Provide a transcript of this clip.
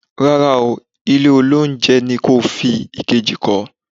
Rárá oooo. Ilé olóunjẹ ni kí o fi èkejì kọ́.